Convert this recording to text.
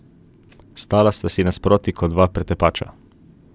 Stala sta si nasproti kot dva pretepača.